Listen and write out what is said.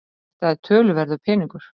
Þetta er töluverður peningur